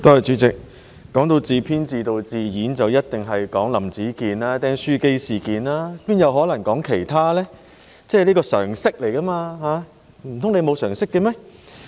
提到自編自導自演，當然要說"林子健釘書機事件"，沒有可能說其他，這是常識，難道譚文豪議員沒有常識嗎？